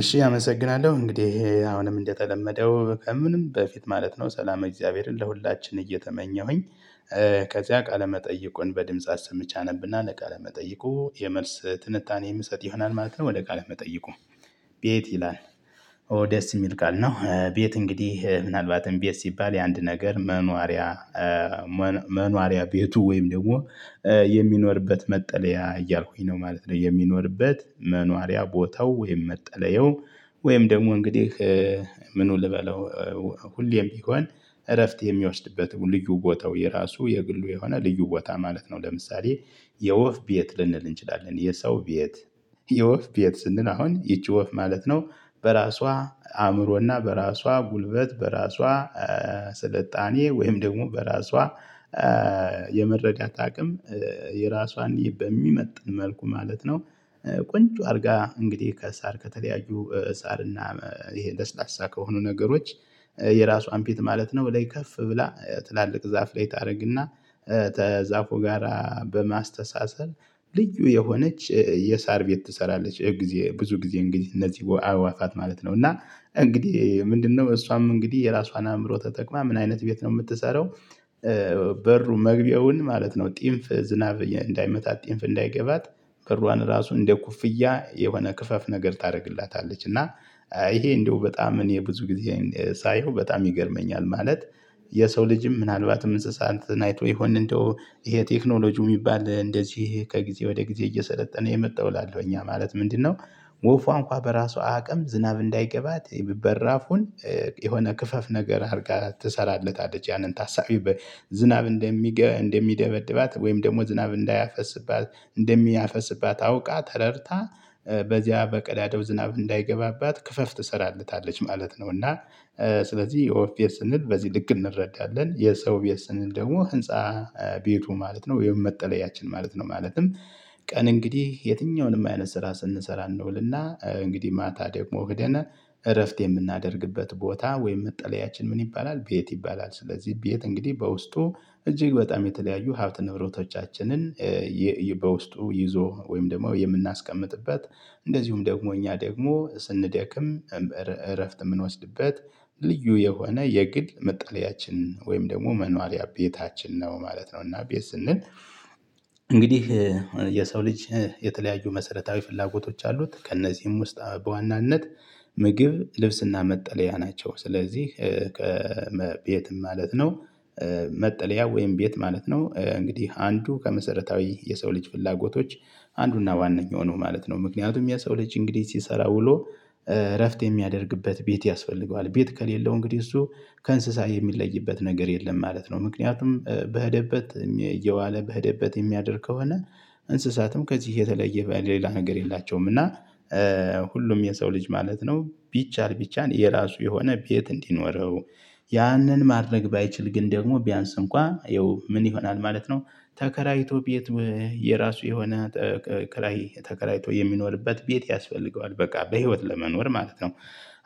እሺ አመሰግናለሁ እንግዲህ አሁንም እንደተለመደው ከምንም በፊት ማለት ነው ሰላም እግዚአብሔርን ለሁላችን እየተመኘሁኝ። ከዚያ ቃለመጠይቁን በድምጽ አሰምቻ ነብና ለቃለመጠይቁ የመልስ ትንታኔ የምሰጥ ይሆናል ማለት ነው። ወደ ቃል መጠይቁ። ቤት ይላል። ደስ የሚል ቃል ነው ቤት እንግዲህ ምናልባትም ቤት ሲባል የአንድ ነገር መኗሪያ። መኗሪያ ቤቱ ወይም ደግሞ የሚኖርበት መጠለያ እያልኩኝ ነው ማለት ነው። የሚኖርበት መኗሪያ ቦታው ወይም መጠለያው ወይም ደግሞ እንግዲህ ምኑ ልበለው ሁሌም ቢሆን እረፍት የሚወስድበት ልዩ ቦታው የራሱ የግሉ የሆነ ልዩ ቦታ ማለት ነው። ለምሳሌ የወፍ ቤት ልንል እንችላለን የሰው ቤት። የወፍ ቤት ስንል አሁን ይቺ ወፍ ማለት ነው በራሷ አእምሮና በራሷ ጉልበት በራሷ ስልጣኔ ወይም ደግሞ በራሷ የመረዳት አቅም የራሷን በሚመጥን መልኩ ማለት ነው። ቆንጆ አድርጋ እንግዲህ ከሳር ከተለያዩ እሳርና ይሄ ለስላሳ ከሆኑ ነገሮች የራሱአን ቤት ማለት ነው። ላይ ከፍ ብላ ትላልቅ ዛፍ ላይ ታደርግና ከዛፎ ጋራ በማስተሳሰር ልዩ የሆነች የሳር ቤት ትሰራለች። ጊዜ ብዙ ጊዜ እንግዲህ እነዚህ አዋፋት ማለት ነው እና እንግዲህ ምንድነው እሷም እንግዲህ የራሷን አእምሮ ተጠቅማ ምን አይነት ቤት ነው የምትሰራው? በሩ መግቢያውን ማለት ነው ጢንፍ ዝናብ እንዳይመታ እንዳይመታት ጢንፍ እንዳይገባት ክሮአን ራሱ እንደ ኩፍያ የሆነ ክፈፍ ነገር ታደርግላታለች። እና ይሄ እንደው በጣም እኔ ብዙ ጊዜ ሳየው በጣም ይገርመኛል ማለት። የሰው ልጅም ምናልባትም እንስሳትን አይቶ ይሆን እንደው ይሄ ቴክኖሎጂው የሚባል እንደዚህ ከጊዜ ወደ ጊዜ እየሰለጠነ የመጣው እላለሁ ያማለት ምንድነው? ወፉ እንኳን በራሱአ አቅም ዝናብ እንዳይገባት በራፉን የሆነ ክፈፍ ነገር አድርጋ ትሰራለታለች ያንን ታሳቢው ዝናብ እንደሚደበድባት ወይም ደግሞ ዝናብ እንዳያፈስባት እንደሚያፈስባት አውቃ ተረርታ በዚያ በቀዳዳው ዝናብ እንዳይገባባት ክፈፍ ትሰራለታለች ማለት ነው። እና ስለዚህ የወፍ ቤት ስንል በዚህ ልክ እንረዳለን። የሰው ቤት ስንል ደግሞ ህንፃ ቤቱ ማለት ነው የመጠለያችን ማለት ነው። ማለትም ቀን እንግዲህ የትኛውንም አይነት ስራ ስንሰራ እንውልና እንግዲህ ማታ ደግሞ ህደነ እረፍት የምናደርግበት ቦታ ወይም መጠለያችን ምን ይባላል ቤት ይባላል። ስለዚህ ቤት እንግዲህ በውስጡ እጅግ በጣም የተለያዩ ሀብት ንብረቶቻችንን ይዞ ወይም ደግሞ የምናስቀምጥበት እንደዚሁም ደግሞ እኛ ደግሞ ስንደክም እረፍት የምንወስድበት ልዩ የሆነ የግል መጣለያችን ወይም ደግሞ መኖሪያ ቤታችን ነው ማለት ነው። እና ቤት ስንል እንግዲህ የሰው ልጅ የተለያዩ መሰረታዊ ፍላጎቶች አሉት ከእነዚህም ውስጥ በዋናነት ምግብ ልብስና መጠለያ ናቸው። ስለዚህ ቤትም ማለት ነው መጠለያ ወይም ቤት ማለት ነው እንግዲህ አንዱ ከመሰረታዊ የሰው ልጅ ፍላጎቶች አንዱና ዋነኛው ነው ማለት ነው። ምክንያቱም የሰው ልጅ እንግዲህ ሲሰራ ውሎ እረፍት የሚያደርግበት ቤት ያስፈልገዋል። ቤት ከሌለው እንግዲህ እሱ ከእንስሳ የሚለይበት ነገር የለም ማለት ነው። ምክንያቱም በህደበት እየዋለ በህደበት እሚያደርግ ከሆነ እንስሳትም ከዚህ የተለየ ሌላ ነገር የላቸውም። እና ሁሉም የሰው ልጅ ማለት ነው ቢቻል ቢቻል የራሱ የሆነ ቤት እንዲኖረው ያንን ማድረግ ባይችል ግን ደግሞ ቢያንስ እንኳን ይኸው ምን ይሆናል ማለት ነው። ተከራይቶ ቤት የራሱ የሆነ ክራይ ተከራይቶ የሚኖርበት ቤት ያስፈልገዋል በቃ በህይወት ለመኖር ማለት ነው።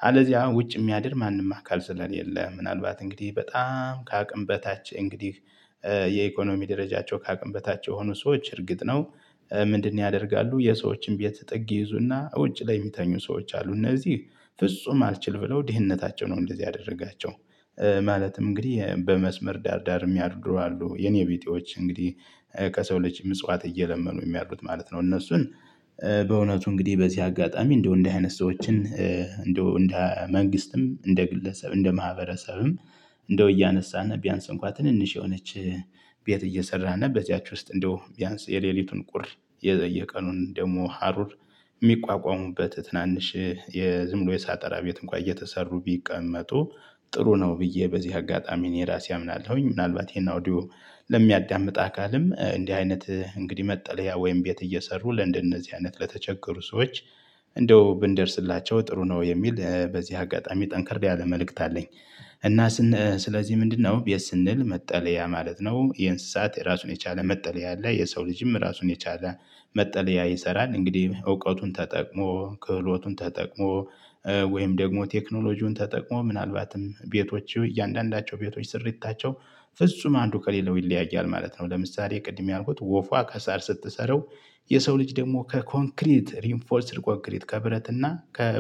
አለዚያ ውጭ እሚያድር ማንም አካል ስለሌለ ምናልባት እንግዲህ በጣም ከአቅም በታች እንግዲህ የኢኮኖሚ ደረጃቸው ካቅም በታች የሆኑ ሰዎች እርግጥ ነው። ምንድነው ያደርጋሉ የሰዎችን ቤት ጥግ ይይዙና ውጭ ላይ የሚተኙ ሰዎች አሉ። እነዚህ ፍጹም አልችል ብለው ድህነታቸው ነው እንደዚህ ያደረጋቸው። ማለትም እንግዲህ በመስመር ዳር ዳር የሚያድሩ አሉ የኔ ቢጤዎች እንግዲህ ከሰው ልጅ ምጽዋት እየለመኑ የሚያድሩት ማለት ነው። እነሱን በእውነቱ እንግዲህ በዚህ አጋጣሚ እንደው እንደዚህ አይነት ሰዎችን እንደው እንደ መንግስትም እንደ ግለሰብም እንደ ማህበረሰብም እንደው እያነሳን ቢያንስ እንኳን ትንንሽ የሆነች ቤት እየሰራንበት በዚያቺ ውስጥ እንደው ቢያንስ የሌሊቱን ቁር የቀኑን ደግሞ ሀሩር እሚቋቋሙበት ትናንሽ የዝምብሎ የሳጠራ ቤት እንኳን እየተሰሩ ቢቀመጡ ጥሩ ነው ብዬ በዚህ አጋጣሚ እኔ ራሴ አምናለሁኝ። ምናልባት ይሄን አውዲዮ ለሚያዳምጥ አካልም እንዲህ አይነት እንግዲህ መጠለያ ወይም ቤት እየሰሩ ለእንደነዚህ አይነት ለተቸገሩ ሰዎች እንደው ብንደርስላቸው ጥሩ ነው የሚል በዚህ አጋጣሚ ጠንከር ያለ መልእክት አለኝ። እና ስለዚህ ምንድነው ቤት ስንል መጠለያ ማለት ነው። የእንስሳት የራሱን የቻለ መጠለያ አለ። የሰው ልጅም ራሱን የቻለ መጠለያ ይሰራል። እንግዲህ እውቀቱን ተጠቅሞ ክህሎቱን ተጠቅሞ ወይም ደግሞ ቴክኖሎጂውን ተጠቅሞ ምናልባትም ቤቶቹ እያንዳንዳቸው ቤቶች ስሪታቸው ፍጹም አንዱ ከሌለው ይለያያል ማለት ነው። ለምሳሌ ቅድም ያልኩት ወፏ ከሳር ስትሰራው። የሰው ልጅ ደግሞ ከኮንክሪት ሪንፎርስድ ኮንክሪት ከብረት እና ከ